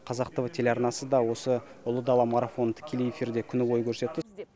қазақ тв телеарнасы да ұлы дала марафонын тікелей эфирде күні бойы көрсетті